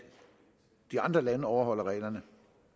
de andre lande overholder reglerne